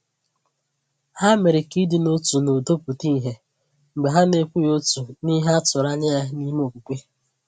Ha mere ka ịdị n’otu na udo pụta ìhè mgbe ha na-ekwughị otu n’ihe a tụrụ anya ya n’ime okwukwe.